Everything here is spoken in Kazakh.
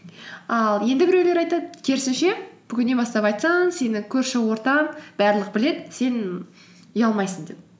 ал енді біреулер айтады керісінше бүгіннен бастап айтсаң сені көрші ортаң барлығы біледі сен ұялмайсың деп